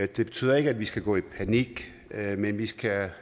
det betyder ikke at vi skal gå i panik men vi skal